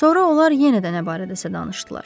Sonra onlar yenə də nə barədəsə danışdılar.